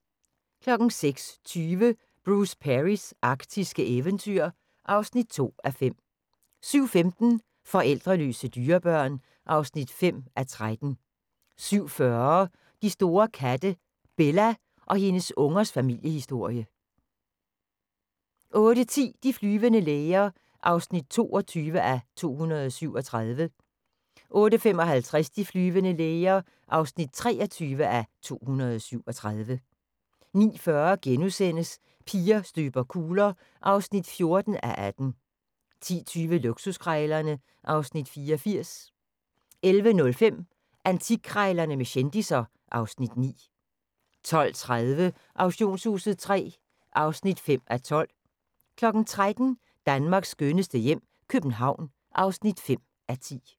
06:20: Bruce Perrys arktiske eventyr (2:5) 07:15: Forældreløse dyrebørn (5:13) 07:40: De store katte – Bella og hendes ungers familiehisorie 08:10: De flyvende læger (22:237) 08:55: De flyvende læger (23:237) 09:40: Piger støber kugler (14:18)* 10:20: Luksuskrejlerne (Afs. 84) 11:05: Antikkrejlerne med kendisser (Afs. 9) 12:30: Auktionshuset III (5:12) 13:00: Danmarks skønneste hjem - København (5:10)